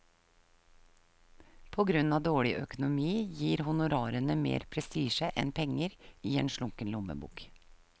På grunn av dårlig økonomi gir honorarene mer prestisje enn penger i en slunken lommebok.